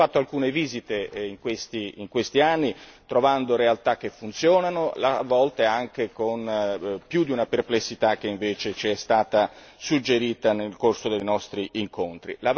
Abbiamo fatto alcune visite in questi anni, trovando realtà che funzionano, a volte anche con più di una perplessità che invece c'è stata suggerita nel corso dei nostri incontri.